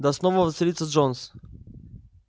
да снова воцарится джонс